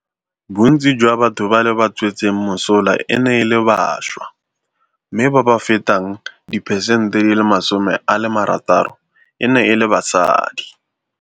Bontsi jwa batho ba le ba tswetseng mosola e ne e le bašwa, mme ba ba fetang diperesente 60 e ne e le basadi.